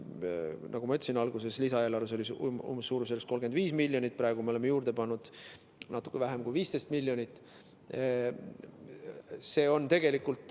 Nagu ma ütlesin, alguses oli lisaeelarves suurusjärgus 35 miljonit, praegu me oleme juurde pannud natuke vähem kui 15 miljonit.